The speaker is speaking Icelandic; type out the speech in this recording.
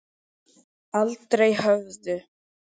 Aldrei höfðu